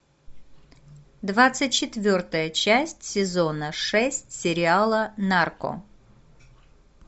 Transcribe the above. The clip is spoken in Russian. двадцать четвертая часть сезона шесть сериала нарко